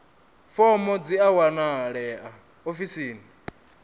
fomo dzi a wanalea ofisini